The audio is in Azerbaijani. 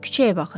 Küçəyə baxıram.